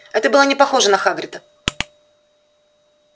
это было не похоже на хагрида